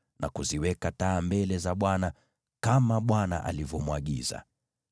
na kuziweka taa mbele za Bwana , kama Bwana alivyomwagiza.